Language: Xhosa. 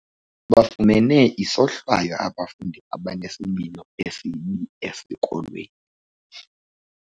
Bafumene isohlwayo abafundi abanesimilo esibi esikolweni.